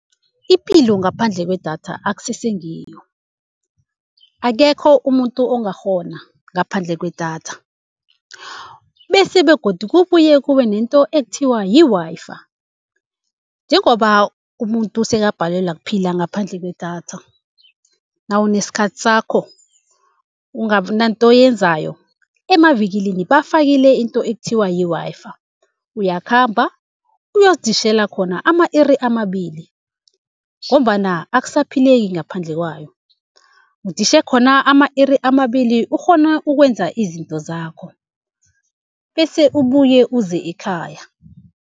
Ipilo ngaphandle kwedatha akusese ngiyo, akekho umuntu ongakghona ngaphandle kwedatha. Bese begodu kubuye kube nento ekuthiwa yi-Wi-Fi njengoba umuntu sekabhalelwa kuphila ngaphandle kwedatha, nawunesikhathi sakho ungabinanto oyenzayo emavikilini bafakile into ekuthiwa yi-Wi-Fi. Uyakhamba uyoziditjhela khona ama-iri amabili, ngombana akusaphileki ngaphandle kwayo. Uditjhe khona ama-iri amabili ukghone ukwenza izinto zakho, bese ubuye uze ekhaya.